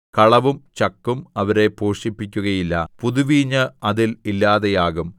കളവും ചക്കും അവരെ പോഷിപ്പിക്കുകയില്ല പുതുവീഞ്ഞ് അതിൽ ഇല്ലാതെയാകും